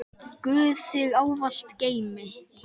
Guð þig ávallt geymi.